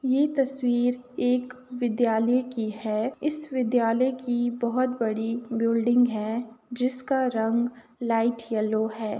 यह तस्वीर एक विद्यालय की है । इस विद्यालय की बोहोत बड़ी बिल्डिंग है जिसका रंग लाइट येल्लो है ।